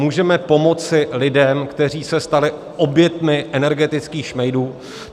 Můžeme pomoci lidem, kteří se stali oběťmi energetických šmejdů.